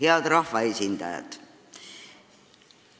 Head rahvaesindajad!